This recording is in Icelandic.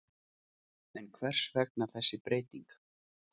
En hvers vegna þessi breyting?